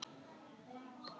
Emilíana